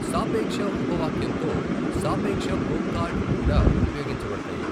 సాపేక్ష ఉపవాక్యంతో సాపేక్ష కొంకార్డ్ కూడా ఉపయోగించబడతాయి.